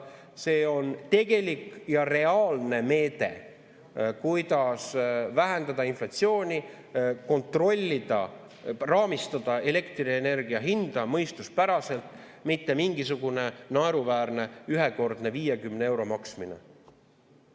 See on tegelik ja reaalne meede, kuidas vähendada inflatsiooni, kontrollida, raamistada elektrienergia hinda mõistuspäraselt, mitte mingisugune naeruväärne ühekordne 50 euro maksmine.